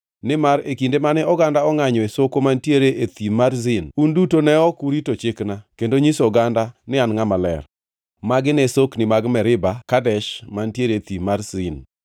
nimar e kinde mane oganda ongʼanyo e sokni mantiere e Thim mar Zin, un duto ne ok urito chikna kendo nyiso oganda ni an Ngʼama Ler.” (Magi ne sokni mag Meriba Kadesh, mantiere e Thim mar Zin.)